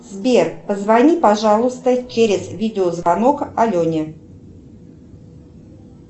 сбер позвони пожалуйста через видео звонок алене